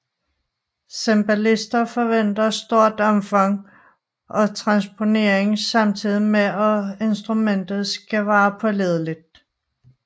Cembalister forventer stort omfang og transponering samtidig med at instrumentet skal være pålideligt